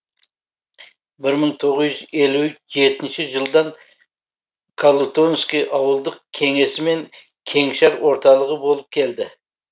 бір мың тоғыз жүз елу жетінші жылдан калутонский ауылдық кеңесі мен кеңшар орталығы болып келді